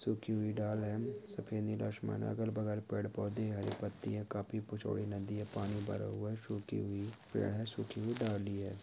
सूखी हुई डाल है सफ़ेद नीला आसमान है अगल - बगल पेड़ - पौधे हरी पत्ती है काफी चौड़ी नदी है पानी भरा हुआ है सूखी हुई पेड़ है सूखी हुई डाली है।